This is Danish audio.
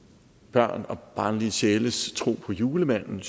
børn og barnlige sjæles tro på julemanden